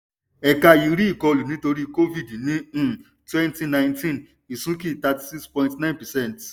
ẹ̀ka yìí rí ìkọlù nítorí covid ní um twenty nineteen ìsúnkì cs] thirty-six point nine percent